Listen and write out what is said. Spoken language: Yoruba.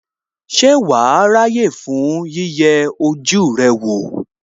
Ṣé wàá ráyè fún yíyẹ ojú rẹ wò?